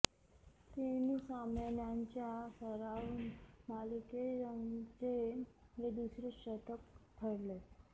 तीन सामन्यांच्या सराव मालिकेत यंगचे हे दुसरे शतक ठरले